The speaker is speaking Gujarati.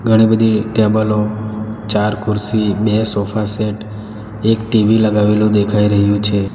ઘણી બધી ટેબલો ચાર ખુરશી બે સોફાસેટ એક ટી_વી લગાવેલું દેખાઈ રહ્યું છે.